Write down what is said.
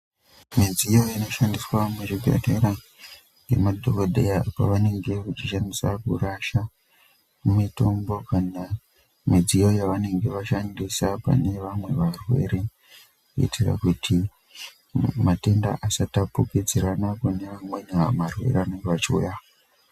Midziyo inoshandiswa muzvibhedhleya ngemadhokoteya pavanenge vechishandisa kurasha mitombo kana midziyo yevanenge vashandisa pane vamwe varwere kuitira kuti matenda asatapudzikirana kune vamweni varwere vanenge vechiuya.